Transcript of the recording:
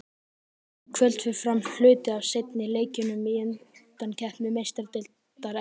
Í kvöld fer fram hluti af seinni leikjunum í undankeppni Meistaradeildar Evrópu.